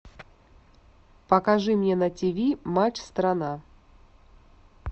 покажи мне на тиви матч страна